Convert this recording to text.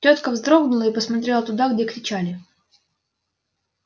тётка вздрогнула и посмотрела туда где кричали